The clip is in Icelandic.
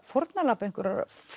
fórnarlamb einhvers